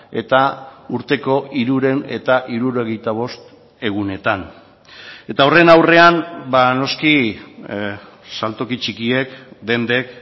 eta urteko hirurehun eta hirurogeita bost egunetan eta horren aurrean noski saltoki txikiek dendek